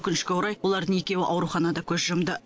өкінішке орай олардың екеуі ауруханада көз жұмды